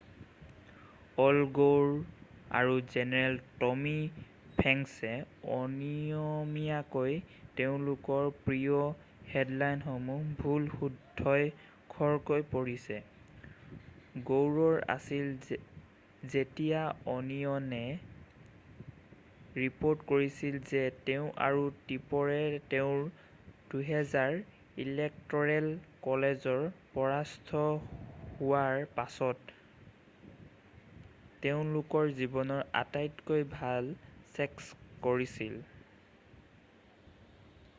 all Gore আৰু general Tommy ফ্ৰেংকছে অনিয়মীয়াকৈ তেওঁলোকৰ প্ৰিয় হেডলাইনসমূহ ভুলে-শুদ্ধই খৰকৈ পঢ়িছে গৌৰৰ আছিল যেতিয়া অনিয়নে ৰিপৰ্ট কৰিছিল যে তেওঁ আৰু টিপৰে তেওঁৰ 2000 ৰ ইলেক্ট'ৰেল ক'লেজৰ পৰাস্ত হোৱাৰ পাছত তেওঁলোকৰ জীৱনৰ আটাইতকৈ ভাল ছেক্স কৰিছিল৷